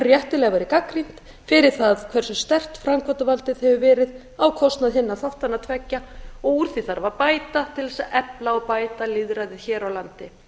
réttilega verið gagnrýnd fyrir það hversu sterkt framkvæmdarvaldið hefur verið á kostnað hinna þáttanna tveggja og úr því þarf að bæta til þess að efla og bæta lýðræðið hér á landi